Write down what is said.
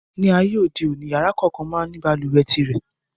Ní ayé òde òní, yàrá kòókan máa ń ní balùwẹ̀ tirẹ̀.